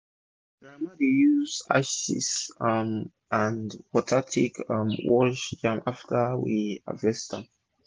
my grandmama dey use ashes um and wata take um wash yam after we harvest harvest am